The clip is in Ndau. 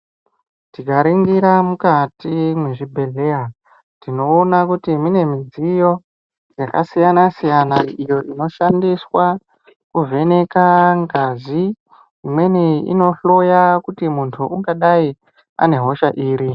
Tikaringira mukati mwezvibhehleya tinoona kuti mune midziyo yakasiyana -siyana iyo inoshandiswa kuvheneka ngazi imweni inohloya kuti muntu ungadai ane hosha iri.